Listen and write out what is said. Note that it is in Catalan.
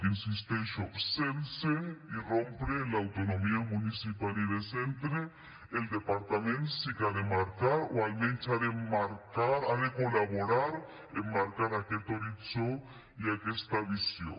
hi insisteixo sense irrompre en l’autonomia municipal i de centre el departament sí que ha de marcar o almenys ha de col· laborar en marcar aquest horitzó i aquesta visió